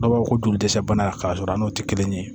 Dɔw b'a fɔ ko joli dɛsɛ bana k'a sɔrɔ a n'o tɛ kelen ye